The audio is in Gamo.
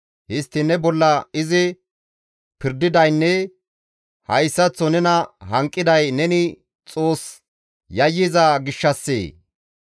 Histtiin ne bolla izi pirdidaynne hayssaththo nena hanqiday neni Xoos yayyiza gishshassee?